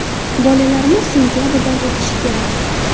Bolalarimiz sentabrdan o‘qishi kerak.